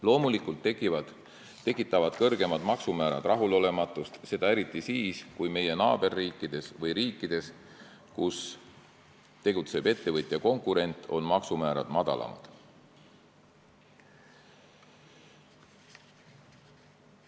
Loomulikult tekitavad kõrgemad maksumäärad rahulolematust, seda eriti siis, kui meie naaberriikides või riikides, kus tegutseb ettevõtja konkurent, on maksumäärad madalamad.